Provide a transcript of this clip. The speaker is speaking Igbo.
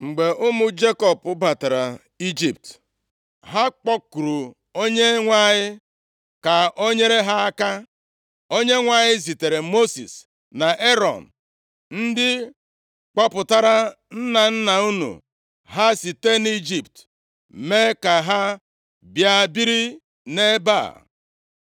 “Mgbe ụmụ Jekọb batara Ijipt, ha kpọkuru Onyenwe anyị ka o nyere ha aka. Onyenwe anyị zitere Mosis na Erọn, ndị kpọpụtara nna nna unu ha site nʼIjipt, mee ka ha bịa biri nʼebe a.